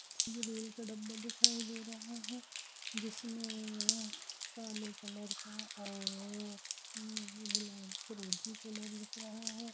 ये रेल का डब्बा दिखाई दे रहा है जिसमें काले कलर का और उ उ फरोजी कलर दिख रहा है।